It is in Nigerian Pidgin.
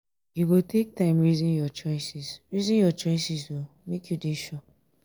you go take time resin your choices resin your choices o make you dey sure.